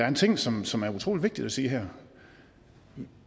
en ting som som er utrolig vigtigt at sige her